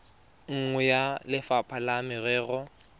nngwe ya lefapha la merero